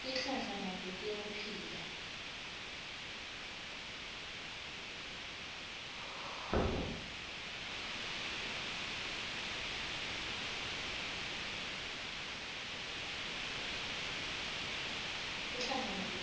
tihlahla nato